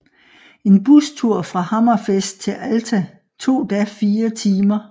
En bustur fra Hammerfest til Alta tog da fire timer